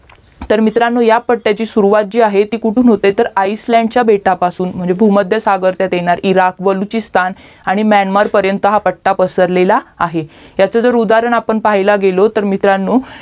तर मित्रांनो या पाट्ट्यची सुरुवात जे आहे ती कोठून होते तर आइसलॅंड च्या बेटा पासून म्हणजे भूमध्य सागर ताच्यात येणार इराक बलुचीकिस्तान आणि म्यानमार पर्यन्त हा पट्टा पसरलेला आहे याचा उदाहरण जर आपण पाहायाला गेलो तर मित्रांनो